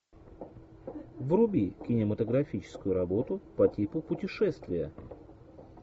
вруби кинематографическую работу по типу путешествия